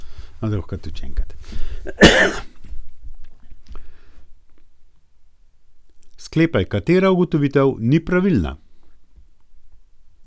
Sklepaj, katera ugotovitev ni pravilna.